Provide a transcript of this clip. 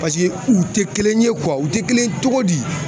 u tɛ kelen ye u tɛ kelen ye cogo di